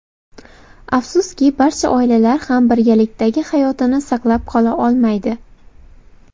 Afsuski, barcha oilalar ham birgalikdagi hayotini saqlab qola olmaydi.